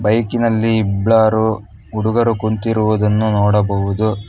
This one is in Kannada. ಬೈಕ್ ಇನಲ್ಲಿ ಇಬ್ಬರು ಹುಡುಗರು ಕುಂತಿರುವುದನ್ನು ನೋಡಬಹುದು.